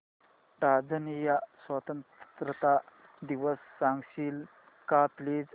Tanzania स्वतंत्रता दिवस सांगशील का प्लीज